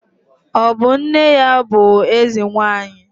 Ọ bụ nne ya bụ Eze nwaanyị?